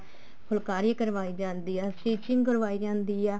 ਫੁਲਕਾਰੀ ਕਰਵਾਈ ਜਾਂਦੀ ਆ stitching ਕਰਵਾਈ ਜਾਂਦੀ ਆ